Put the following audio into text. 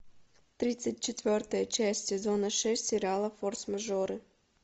тридцать четвертая часть сезона шесть сериала форс мажоры